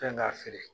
Kan k'a feere